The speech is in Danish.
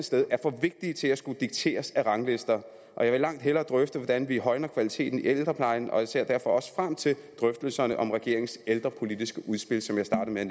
sted er for vigtige til at skulle dikteres af ranglister jeg vil langt hellere drøfte hvordan vi højner kvaliteten i ældreplejen og jeg ser derfor også frem til drøftelserne om regeringens ældrepolitiske udspil som jeg startede